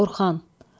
Orxan.